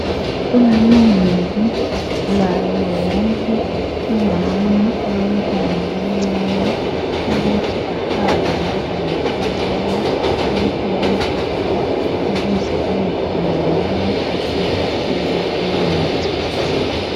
Kulilungelo laye wonke umama olomntwana omncane ukuthi ahambe lomntwana omncane emtholampilo ukuze ayekhangelwa athontiselwe imithi.